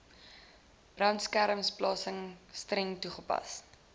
brandbeskermingsplanne streng toegepas